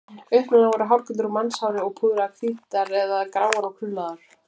Upprunalega voru hárkollurnar úr mannshári og púðraðar hvítar eða gráar og krullaðar.